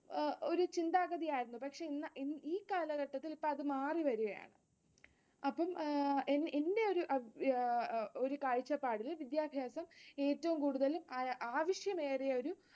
ആഹ് ഒരു ചിന്താഗതിയായിരുന്നു. പക്ഷെ ഇന്ന് ഈ കാലഘട്ടത്തിൽ ഇപ്പൊ അത് മാറിവരികയാണ്. അപ്പം എന്റെ ഒരു കാഴ്ച്ചപ്പാടിൽ വിദ്യാഭ്യാസം ഏറ്റവും കൂടുതൽ ആവശ്യമേറിയൊരു